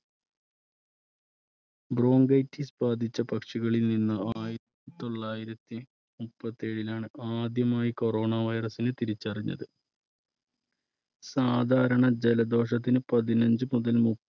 bronchitis ബാധിച്ച പക്ഷികളിൽ നിന്ന് ആയിരത്തി തൊള്ളായിരത്തി മുപ്പത്തി ഏഴിൽ ആണ് ആദ്യമായി corona virus നെ തിരിച്ചറിഞ്ഞത്. സാധാരണ ജലദോഷത്തിന് പതിനഞ്ച് മുതൽ മു~